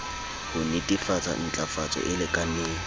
ho netefatsa ntlafatso e lekaneng